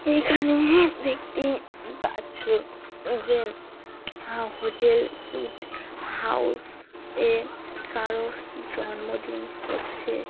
এখানে ব্যক্তি দেখতে পাচ্ছ যে হা হোটেল উইথ হাউস - এ কারোর জন্মদিন হচ্ছে ।